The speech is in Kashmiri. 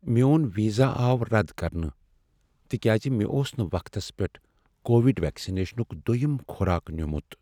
میون ویزا آو رد کرنہٕ تکیاز مےٚ اوس نہٕ وقتس پییٹھ کووڈ ویکسنیشنک دویم خوراک نیُمت ۔